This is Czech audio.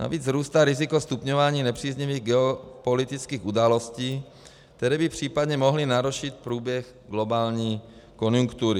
Navíc vzrůstá riziko stupňování nepříznivých geopolitických událostí, které by případně mohly narušit průběh globální konjunktury.